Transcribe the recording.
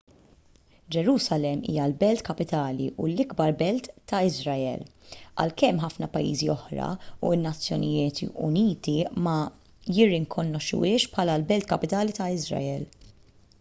ġerusalemm hija l-belt kapitali u l-ikbar belt ta' iżrael għalkemm ħafna pajjiżi oħra u n-nazzjonijiet uniti ma jirrikonoxxuhiex bħala l-belt kapitali ta' iżrael